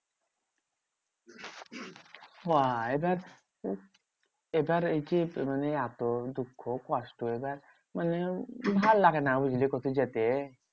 হ্যাঁ এবার এবার এই যে মানে এত দুঃখ কষ্ট, এবার মানে ভাললাগে না বুঝলি কোথাও যেতে?